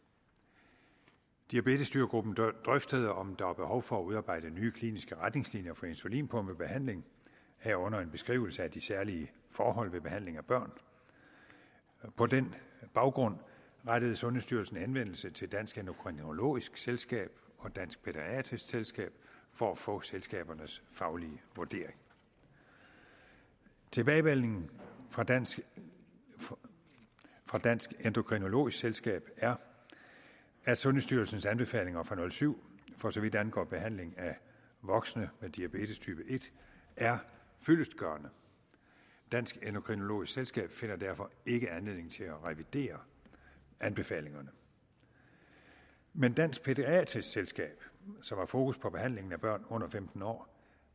diabetesstyregruppen drøftede om der er behov for at udarbejde nye kliniske retningslinjer for insulinpumpebehandling herunder en beskrivelse af de særlige forhold ved behandling af børn og på den baggrund rettede sundhedsstyrelsen henvendelse til dansk endokrinologisk selskab og dansk pædiatrisk selskab for at få selskabernes faglige vurdering tilbagemeldingen fra dansk fra dansk endokrinologisk selskab er at sundhedsstyrelsens anbefalinger fra og syv for så vidt angår behandling af voksne med diabetestype en er fyldestgørende dansk endokrinologisk selskab finder derfor ikke anledning til at revidere anbefalingerne men dansk pædiatrisk selskab som har fokus på behandlingen af børn under femten år